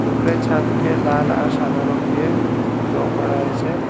উপরে ছাদকে লাল আর সাদা রং দিয়ে লং করা হয়েছে।